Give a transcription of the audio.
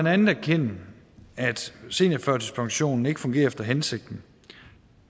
andet erkende at seniorførtidspensionen ikke fungerer efter hensigten